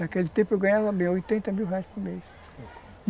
Naquele tempo eu ganhava oitenta mil reais por mês.